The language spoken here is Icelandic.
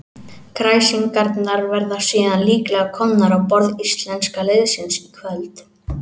Kræsingarnar verða síðan líklega komnar á borð íslenska liðsins í kvöld.